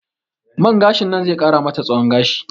Man gashin nan ze ƙara mata tsahon gashi